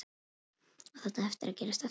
Á þetta eftir að gerast aftur?